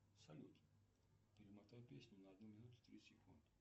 салют перемотай песню на одну минуту три секунды